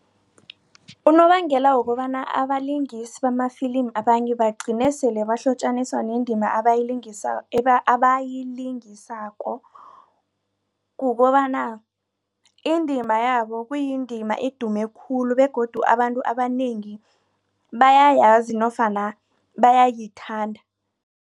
Unobangela wokobana abalingisi bamafilimi abanye bagcine sele bahlotjaniswa nendima abayilingisako. Kukobana indima yabo kuyindima edume khulu begodu abantu abanengi bayayazi nofana bayayithanda.